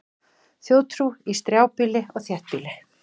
Þjóðtrú í strjálbýli og þéttbýli